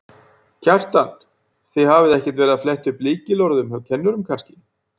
Kjartan: Þið hafið ekkert verið að fletta upp lykilorðum hjá kennurum kannski?